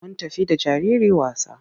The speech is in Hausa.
Mun tafi da jariri wasa.